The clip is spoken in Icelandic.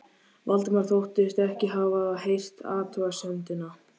Valdimar þóttist ekki hafa heyrt athugasemdina.